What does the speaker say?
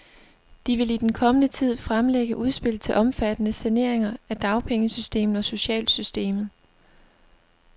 De vil i den kommende tid fremlægge udspil til omfattende saneringer af dagpengesystemet og socialsystemet.